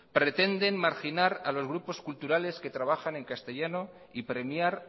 pretenden marginar a los grupos culturales que trabajan en castellanos y premiar